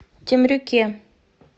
темрюке